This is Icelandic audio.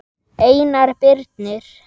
Einar Birnir.